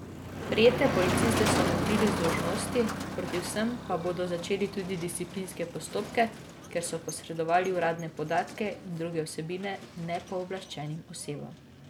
Prijete policiste so umaknili z dolžnosti, proti vsem pa bodo začeli tudi disciplinske postopke, ker so posredovali uradne podatke in druge vsebine nepooblaščenim osebam.